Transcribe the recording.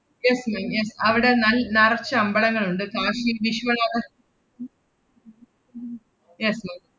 yes ma'am yes അവടെ നൽ~ നറച്ച് അമ്പളങ്ങളുണ്ട്, കാശി വിശ്വനാഥ yes ma'am